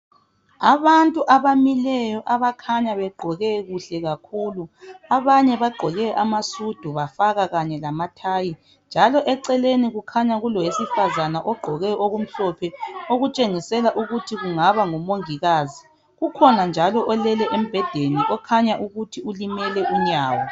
Abantu abamileyo abakhanya begqoke kuhle kakhulu. Abanye bagqoke amasudu bafaka kanye lamathayi. Eceleni kukhanya kulowesifazana ogqoke okumhlophe, okutshengisela ukuthi kungaba ngumongikazi. Kukhona njalo olele embhedeni okhanya ukuthi ulimele unyawo.